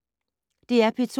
DR P2